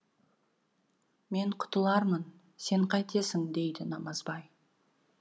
мен құтылармын сен қайтесің дейді намазбай